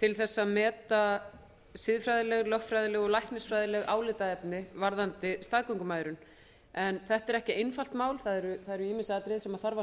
til að meta siðfræðileg lögfræðileg og læknisfræðileg álitaefni varðandi staðgöngumæðrun en þetta er ekki einfalt mál það eru ýmis atriði sem þarf að